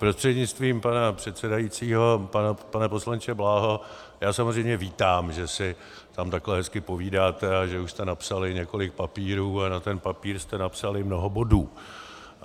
Prostřednictvím pana předsedajícího pane poslanče Bláho, já samozřejmě vítám, že si tam takhle hezky povídáte a že už jste napsali několik papírů a na ten papír jste napsali mnoho bodů.